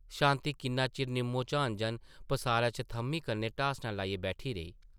शांति किन्ना चिर निम्मोझान जन पसारा च थʼम्मी कन्नै ढासना लाइयै बैठी रेही ।